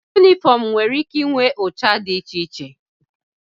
Yunifọmụ nwere ike inwe ụcha dị iche iche.